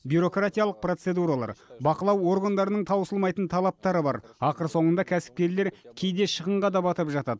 бюрократиялық процедуралар бақылау органдарының таусылмайтын талаптары бар ақыр соңында кәсіпкерлер кейде шығынға да батып жатады